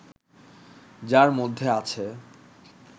যার মধ্যে আছে